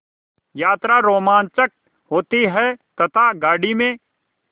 यात्रा रोमांचक होती है तथा गाड़ी में